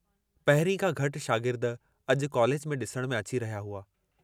पहिरीं खां घटि शार्गिद अजु कॉलेज में डिसण में अची रहिया हुआ।